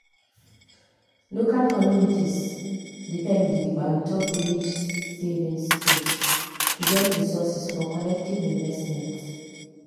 local communities depend gidigba ontop village savings schemes to get resources for collective investments.